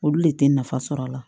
Olu le tɛ nafa sɔrɔ a la